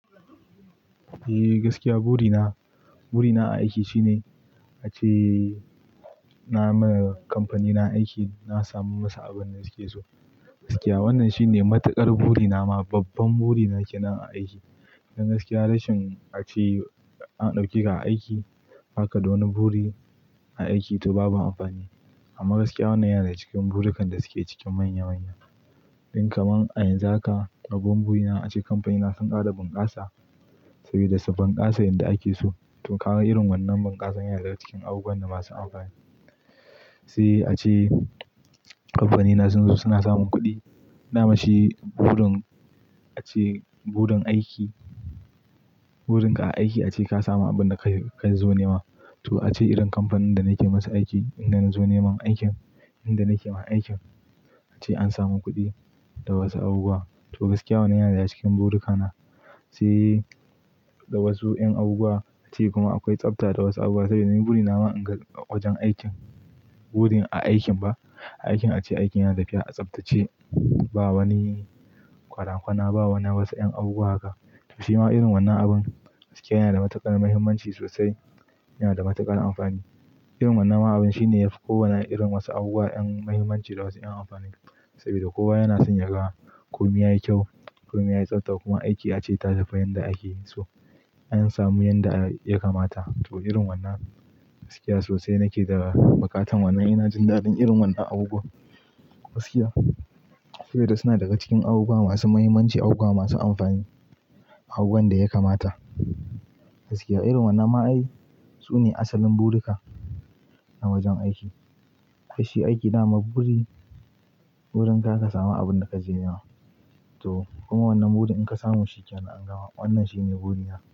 Eh gaskiya, buri na buri na a aiki shine a ce na ma kamfani na aiki na samu masu abin da suke so. Gaskiya, Wannan shine matuƙar buri na ma, babban buri na kenan aiki. Dan gaskiya, rashin a ce an ɗauke ka a aiki baka da wani buri a aikin to babu amfani. Amma gaskiya wannan yana daga cikin burukan da suke cikin manya-manya. Kaman a yanzu haka, babban buri na a ce kamfanina sun ƙara bunƙasa, sabida su bunƙasa yanda ake so. To ka ga irin wannan bunƙasan yana daga cikin abubuwan da masu amfani. Se a ce kamfanina sun zo suna samun kuɗi, nama shi burin a ce burin aiki, burin ka a aiki a ce ka samu abin da kayi ka zo nema. To irin kamfanin da nake masa aiki, inda nazo neman aikin, inda nake ma aiki an samu kuɗi da wasu abubuwa. To gaskiya wannan yana daga cikin buruka na si da wasu yan abubuwa. Kuma akwai tsafta da wasu abubuwa saboda ni buri na ba in ga wajen aikin, buri a aikin ba. A aikin ace aikin yana tafiya a tsaftace, ba wani kwara-kwana, ba wani wasu yan abubuwa haka. To shi ma irin wannan abun gaskiya yana da matuƙar muhimmanci sosai, yana da matuƙar amfani. Irin wannan abun shine yafi kowane irin wasu abubuwa yan muhimmanci da wasu yan amfani saboda kowa yana son ya ga komi yayi kyau, komi yayi tsafta kuma aiki ace ya tafiya yanda ake so. An samu yanda ya kamata. To irin wannan gaskiya sosai nake daga bukatan wannan, ina jin daɗin irin wannan abubuwa gaskiya saboda suna daga cikin abubuwa masu muhimmanci, abubuwa masu amfani, abubuwan da ya kamata. Gaskiya irin wannan ma ai sune asalin buruka na wajen aiki. Fashi aiki nama burin ka, ka samu abun da ka je nema. To kuma wannan buri in ka samu shi yana angawa. Wannan shine buri na.